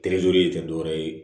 terezeri tɛ dɔwɛrɛ ye